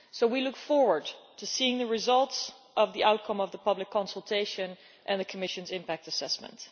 We look forward to seeing the results of the outcome of the public consultation and the Commission's impact assessment.